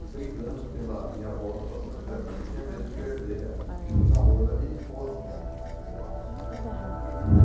E brigando pela minha volta para São José, porque eu tinha medo de perder a o namoro da minha esposa.